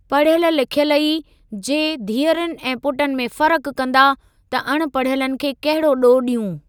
पढ़ियल लिख्यल ई, जे धीअरुनि ऐं पुटनि में फर्क़ु कंदा, त अण पढ़ियलनि खे कहिड़ो ॾोहु ॾियूं?